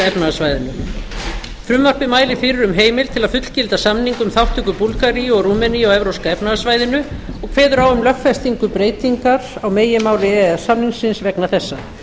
efnahagssvæðinu frumvarpið mælir fyrir um heimild til að fullgilda samning um þátttöku búlgaríu og rúmeníu á evrópska efnahagssvæðinu ég kveður á um lögfestingu breytingar á meginmáli e e s samningsins vegna þessa